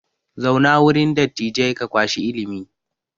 Zauna wurin dattijai ka kwashi ilimi!